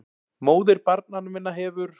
MÓÐIR BARNANNA MINNA HEFUR